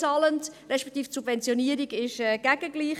Respektive die Subventionierung ist gegengleich.